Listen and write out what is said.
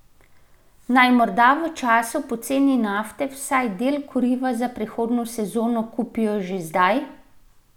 Naj morda v času poceni nafte vsaj del kuriva za prihodnjo sezono kupijo že zdaj?